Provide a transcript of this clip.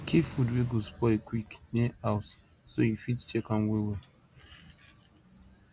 keep food wey go spoil quick near house so you fit check am well well